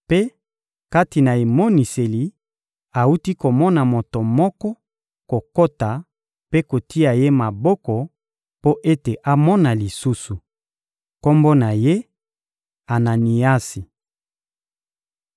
mpe, kati na emoniseli, awuti komona moto moko kokota mpe kotia ye maboko mpo ete amona lisusu; kombo na ye «Ananiasi.»